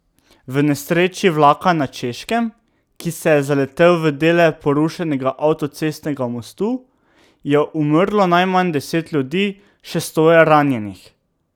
V nesreči vlaka na Češkem, ki se je zaletel v dele porušenega avtocestnega mostu, je umrlo najmanj deset ljudi, še sto je ranjenih.